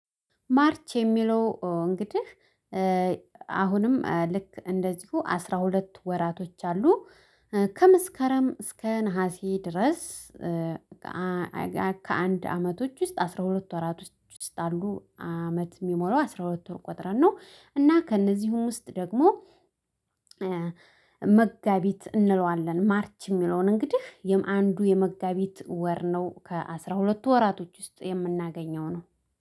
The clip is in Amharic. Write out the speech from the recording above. ማርች የሚለው እንግዲህ አሁንም ልክ እንደዚሁ አስራ ሁለት ወራቶች አሉ። ከመስከረም እስከ ነሀሴ ድረስ። ከአንድ አመቶች ውስጥ አስራ ሁለት ወራቶች ውስጥ አሉ አመት የሚሞላው አስራ ሁለት ወር ቆጥረን ነው። እና ከእነዚህም ውስጥ ደግሞ መጋቢት እንለዋለን ማርች የሚለውን እንግዲህ አንዱ የመጋቢት ወር ነው። ከአስራ ሁለቱ ወራቶች ውስጥ የምናገኘው ነው